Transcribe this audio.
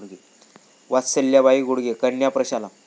वत्सलाबाई गुडगे कन्या प्रशाला